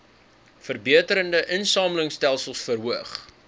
verbeterde insamelingstelsels verhoog